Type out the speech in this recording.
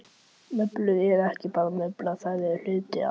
Mublur eru ekki bara mublur, þær eru hluti af.